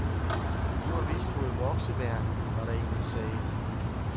Du har vist fået vokseværk, var der én, der sagde.